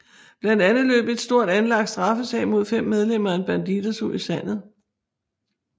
Blandt andet løb en stort anlagt straffesag mod fem medlemmer af Bandidos ud i sandet